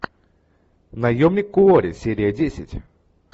наемник куорри серия десять